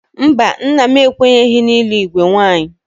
Mba, nna m ekwenyeghị n'ịlụ igwe nwaanyị?